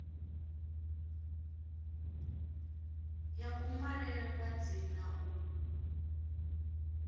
ya kunwalele kwa dzina u